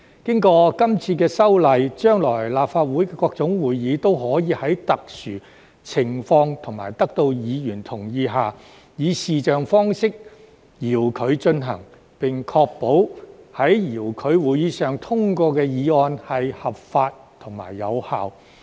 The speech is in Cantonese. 經過今次修例，將來立法會各種會議都可以在特殊情況及得到議員同意下，以視像方式遙距進行，並確保在遙距會議上通過的議案合法及有效。